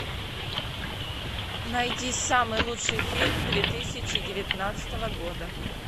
найди самый лучший фильм две тысячи девятнадцатого года